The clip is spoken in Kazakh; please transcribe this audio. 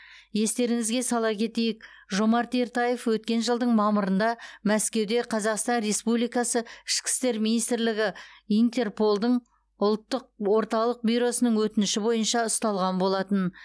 естеріңізге сала кетейік жомарт ертаев өткен жылдың мамырында мәскеуде қазақстан республикасы ішкі істер министрлігі интерполдың ұлттық орталық бюросының өтініші бойынша ұсталған болатын